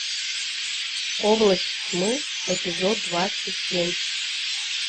область тьмы эпизод двадцать семь